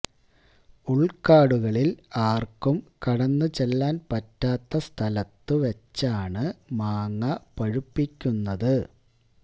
ഉൾക്കാടുകളിൽ ആർക്കും കടന്നു ചെല്ലാൻ പറ്റാത്ത സ്ഥലത്തു വച്ചാണ് മാങ്ങ പഴുപ്പിക്കുന്നത്